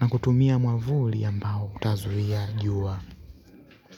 na kutumia mwavuli ambao itazuia juwa.